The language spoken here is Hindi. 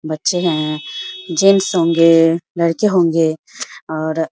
बच्चे है जेंट्स होंगे लड़के होंगे और --